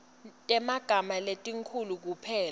temagama letinkhulu kuphela